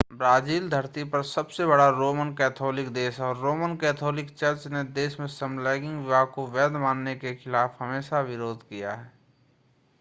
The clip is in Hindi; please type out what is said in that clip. ब्राजील धरती पर सबसे बड़ा रोमन कैथोलिक देश है और रोमन कैथोलिक चर्च ने देश में समलैंगिक विवाह को वैध बनाने के खिलाफ हमेशा विरोध किया है